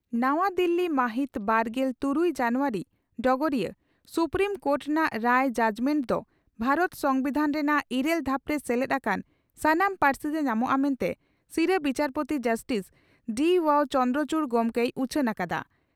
ᱱᱟᱣᱟ ᱫᱤᱞᱤ ᱢᱟᱦᱤᱛ ᱵᱟᱨᱜᱮᱞ ᱛᱩᱨᱩᱭ ᱡᱟᱱᱩᱣᱟᱨᱤ (ᱰᱚᱜᱚᱨᱤᱭᱟᱹ) ᱺ ᱥᱩᱯᱨᱤᱢ ᱠᱳᱴ ᱨᱮᱱᱟᱜ ᱨᱟᱭ (ᱡᱟᱡᱽᱢᱮᱱᱴ) ᱫᱚ ᱵᱷᱟᱨᱚᱛ ᱥᱚᱢᱵᱤᱫᱷᱟᱱᱨᱮ ᱨᱮᱱᱟᱜ ᱤᱨᱟᱹᱞ ᱫᱷᱟᱯᱨᱮ ᱥᱮᱞᱮᱫ ᱟᱠᱟᱱ ᱥᱟᱱᱟᱢ ᱯᱟᱹᱨᱥᱤᱛᱮ ᱧᱟᱢᱚᱜᱼᱟ ᱢᱮᱱᱛᱮ ᱥᱤᱨᱟᱹ ᱵᱤᱪᱟᱹᱨᱯᱳᱛᱤ ᱡᱟᱥᱴᱤᱥ ᱰᱤᱹᱚᱣᱟᱣ ᱪᱚᱫᱽᱨᱚᱪᱩᱰ ᱜᱚᱢᱠᱮᱭ ᱩᱪᱷᱟᱹᱱ ᱟᱠᱟᱫᱼᱟ ᱾